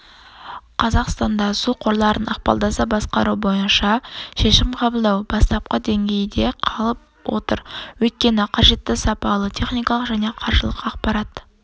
қазақстанда су қорларын ықпалдаса басқару бойынша шешім қабылдау бастапқы деңгейде қалып отыр өйткені қажетті сапалы техникалық және қаржылық ақпарат